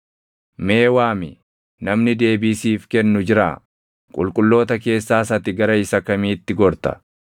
“Mee waami, namni deebii siif kennu jiraa? Qulqulloota keessaas ati gara isa kamiitti gorta?